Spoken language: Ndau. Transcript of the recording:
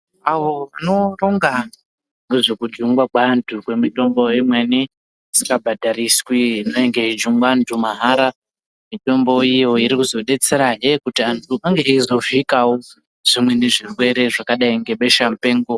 Avo vanoronga nezvekujungwa kweantu kwemitombo imweni isikabhadhariswi inenge ichijungwa antu mahara. Mitombo iyo iri kuzodetserahe kuti antu ange achizovhikawo zvimweni zvirwere zvakadai nebesha mupengo.